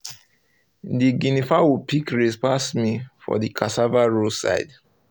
the guinea fowl pick race pass me for the cassava row side